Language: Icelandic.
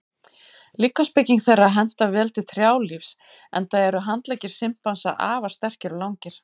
Líkamsbygging þeirra hentar vel til trjálífs enda eru handleggir simpansa afar sterkir og langir.